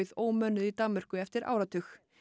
ómönnuð í Danmörku eftir áratug